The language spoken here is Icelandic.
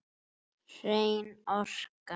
Hrein orka.